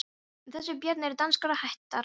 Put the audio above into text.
En þessi börn eru danskrar ættar!